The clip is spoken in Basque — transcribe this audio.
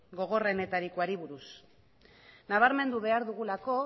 gogorrenetarikoari buruz nabarmendu behar dugulako